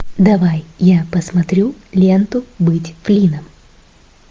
давай я посмотрю ленту быть флинном